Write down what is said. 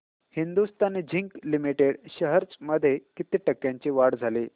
Hindustan zinc limited shares मध्ये किती टक्क्यांची वाढ झाली